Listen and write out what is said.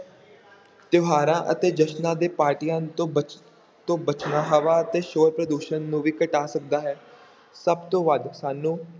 ਤਿਉਹਾਰਾਂ ਅਤੇ ਜਸ਼ਨਾਂ ਦੇ ਪਾਰਟੀਆਂ ਤੋਂ ਬਚ~ ਤੋਂ ਬਚਣਾ ਹਵਾ ਅਤੇ ਸ਼ੋਰ ਪ੍ਰਦੂਸ਼ਣ ਨੂੰ ਵੀ ਘਟਾ ਸਕਦਾ ਹੈ ਸਭ ਤੋਂ ਵੱਧ ਸਾਨੂੰ